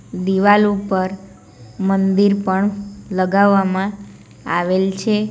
દિવાલ ઉપર મંદિર પણ લગાવવામાં આવેલ છે.